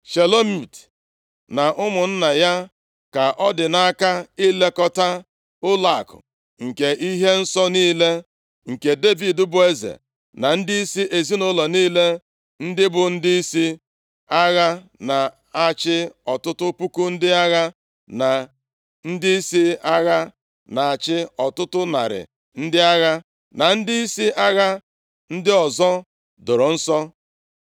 Shelomit na ụmụnna ya ka ọ dị nʼaka ilekọta ụlọakụ nke ihe nsọ niile, nke Devid bụ eze, na ndịisi ezinaụlọ niile, ndị bụ ndịisi agha na-achị ọtụtụ puku ndị agha, na ndịisi agha na-achị ọtụtụ narị ndị agha, na ndịisi agha ndị ọzọ, doro nsọ.